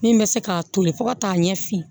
Min bɛ se k'a toli fo ka taa ɲɛ fin